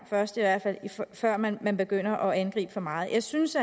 før man begynder at angribe for meget jeg synes